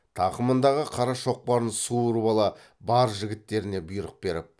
тақымындағы қара шоқпарын суырып ала бар жігіттеріне бұйрық беріп